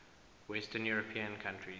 western european countries